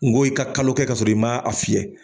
N ko i ka kalo kɛ ka sɔrɔ i maa a fiyɛ.